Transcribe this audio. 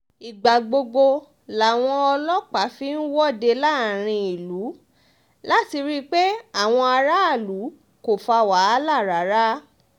ìgbà gbogbo làwọn ọlọ́pàá fi ń wọ́de láàrin ìlú láti rí i pé àwọn aráàlú kò fa wàhálà rárá